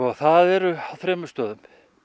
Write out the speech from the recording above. það eru á þremur stöðum